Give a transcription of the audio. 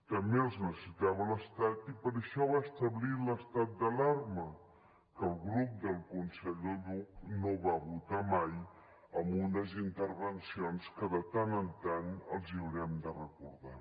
també els necessitava l’estat i per això va establir l’estat d’alarma que el grup del conseller buch no va votar lo mai amb unes intervencions que de tant en tant els haurem de recordar